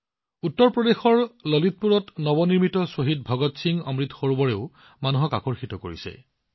উত্তৰ প্ৰদেশৰ ললিতপুৰত নৱনিৰ্মিত শ্বহীদ ভগৎ সিং অমৃত সৰোবৰেও মানুহক যথেষ্ট আকৰ্ষিত কৰিছে